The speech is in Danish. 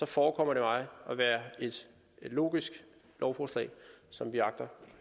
forekommer det mig at være et logisk lovforslag som vi agter